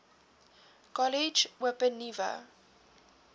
kollege open nuwe